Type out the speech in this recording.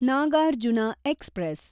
Nagarjuna express